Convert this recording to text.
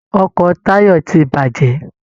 Ọkọ Táyọ̀ ti bàjẹ́.